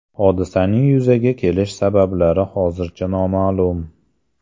Hodisaning yuzaga kelish sabablari hozircha noma’lum.